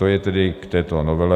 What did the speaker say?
To je tedy k této novele.